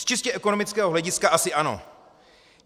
Z čistě ekonomického hlediska asi ano.